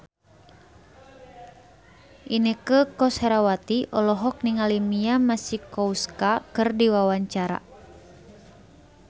Inneke Koesherawati olohok ningali Mia Masikowska keur diwawancara